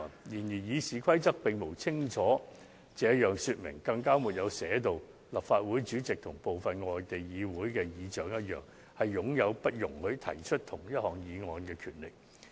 雖然《議事規則》並無清楚訂明，立法會主席與部分外地議會的議事長相同，擁有不容許提出相同議案的權力。